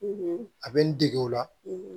a bɛ n dege o la